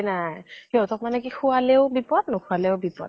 নাই সিহতক মানে কি খোৱালেও বিপদ নোখোৱালেও বিপদ